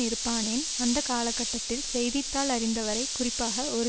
இருப்பானேன் அந்த கால கட்டத்தில் செய்தி தாள் அறிந்தவரை குறிப்பாக ஒரு